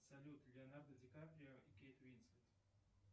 салют леонардо ди каприо и кейт уинслет